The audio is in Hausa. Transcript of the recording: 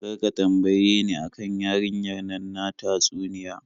Kar ka tambaye ni a kan yarinyar nan ta tatsuniya.